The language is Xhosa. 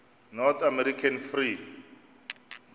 north american free